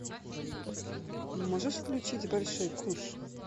можешь включить большой куш